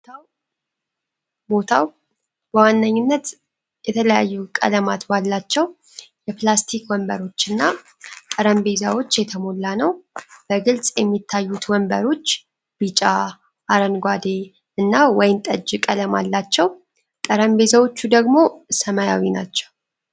ቦታው በዋነኛነት የተለያዩ ቀለማት ባላቸው የፕላስቲክ ወንበሮችና ጠረጴዛዎች የተሞላ ነው። በግልጽ የሚታዩት ወንበሮች ቢጫ፣ አረንጓዴ እና ወይን ጠጅ ቀለም አላቸው። ጠረጴዛዎቹ ደግሞ ሰማያዊ ናቸው።